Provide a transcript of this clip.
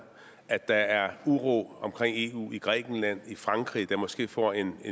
at der er uro omkring eu i grækenland og i frankrig der måske får en